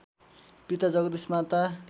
पिता जगदीश माता